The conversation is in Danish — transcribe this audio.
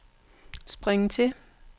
spring til